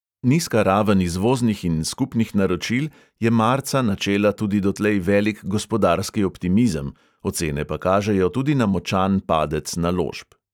Nizka raven izvoznih in skupnih naročil je marca načela tudi dotlej velik gospodarski optimizem, ocene pa kažejo tudi na močan padec naložb.